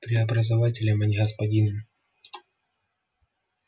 преобразователем а не господином